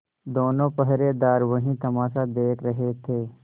दोनों पहरेदार वही तमाशा देख रहे थे